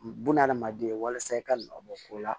Bunahadamaden walasa i ka nɔ bɔ ko la